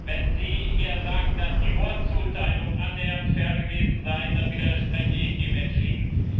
Wenn Sie hier sagen, dass die Wortzuteilung annähernd fair gewesen sei, dann widerspreche ich dem entschieden.